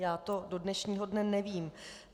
Já to do dnešního dne nevím.